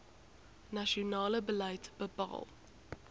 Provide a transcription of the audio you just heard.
nasionale beleid bepaal